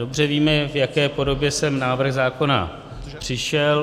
Dobře víme, v jaké podobě sem návrh zákona přišel.